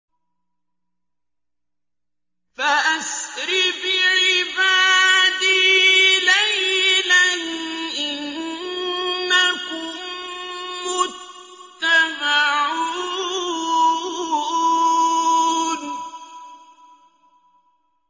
فَأَسْرِ بِعِبَادِي لَيْلًا إِنَّكُم مُّتَّبَعُونَ